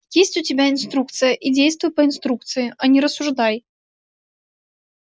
есть у тебя инструкция и действуй по инструкции а не рассуждай